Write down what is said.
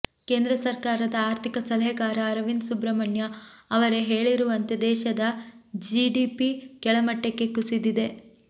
ಕೇಂದ್ರ ಸರ್ಕಾರದ ಆರ್ಥಿಕ ಸಲಹೆಗಾರ ಅರವಿಂದ್ ಸುಬ್ರಹ್ಮಣ್ಯ ಅವರೇ ಹೇಳಿರುವಂತೆ ದೇಶದ ಜಿಡಿಪಿ ಕೆಳಮಟ್ಟಕ್ಕೆ ಕುಸಿದಿದೆ